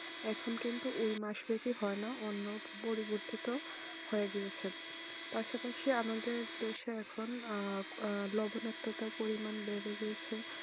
এখন কিন্তু এই মাস হয় না অন্য পরিবর্তিত হয়ে গিয়েছে পাশাপাশি আমাদের দেশে এখন লবণাক্ত তার পরিমান বেড়ে গিয়েছে